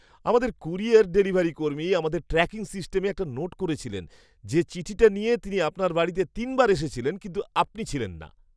আমাদের courier delivery কর্মী আমাদের ট্র্যাকিং সিস্টেমে একটা নোট করেছিলেন যে, চিঠিটা নিয়ে তিনি আপনার বাড়িতে তিনবার এসেছিলেন, কিন্তু আপনি ছিলেন না।